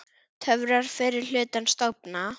Töfrar fyrri hlutans dofna.